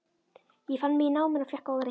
Ég fann mig í náminu og fékk góðar einkunnir.